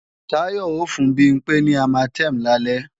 Táyọ ó fún Bimpé ní Armatem lálẹ́